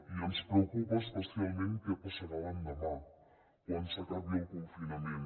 i ens preocupa especialment què passarà l’endemà quan s’acabi el confinament